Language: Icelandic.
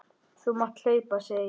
Þú mátt hlaupa, segi ég.